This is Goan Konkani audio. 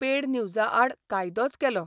पेड न्यूजा आड कायदोच केलो.